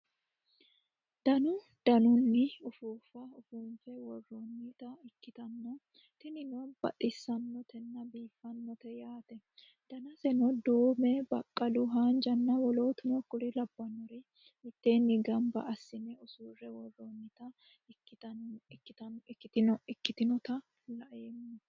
Dannu dannu uuffufa uffunnife wooronnita ikkitana tinnino baxxisanotena biiffanote yaate dannaseno duumme, baqqalu, haanija w.k.l mitteni gamibba assinne ussure wooronnita ikkittinnota la'emma